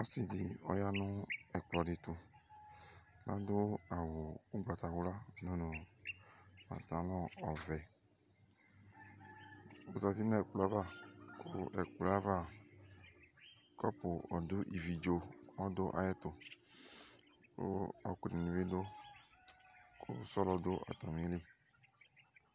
Ɔsɩ ɖɩ ɔƴa nʋ ɛƙplɔ ɖɩ tʋAɖʋ awʋ ʋgbatawla ɖʋ nʋ patalɔ ɔvɛOzati nʋ ɛƙplɔ ava, ƙʋ ɛƙplɔ ava, ƙɔpʋ ɔɖʋ ivi ɖzo ɔɖʋ aƴɛ tʋƘʋ ɔƙʋ dɩnɩ bɩ ɖʋ;sɔlɔ ɖʋ atamili